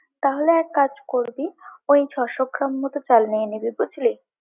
তাহলে এক কাজ করবি, ওই ছয়শো গ্রাম মতো চাল নিয়ে নিবি বুঝলি?